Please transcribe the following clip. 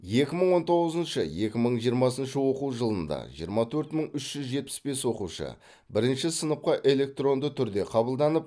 екі мың он тоғызыншы екі мың жиырмасыншы оқу жылында жиырма төрт мың үш жүз жетпіс бес оқушы бірінші сыныпқа электронды түрде қабылданып